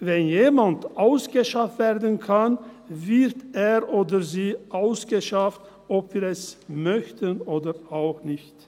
Wenn jemand ausgeschafft werden kann, wird er oder sie ausgeschafft, ob wir es möchten oder auch nicht.